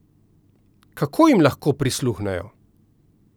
Kako jim lahko prisluhnejo?